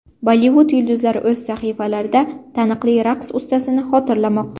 Bollivud yulduzlari o‘z sahifalarida taniqli raqs ustasini xotirlamoqda.